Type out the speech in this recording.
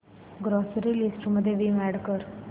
grocery list मध्ये Vim add कर